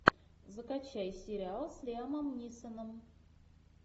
закачай сериал с лиамом нисоном